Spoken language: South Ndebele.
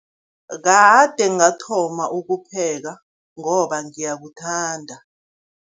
Kade ngathoma ukupheka, ngoba ngiyakuthanda.